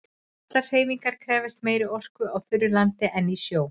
Allar hreyfingar krefjast meiri orku á þurru landi en í sjó.